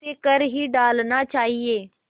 उसे कर ही डालना चाहिए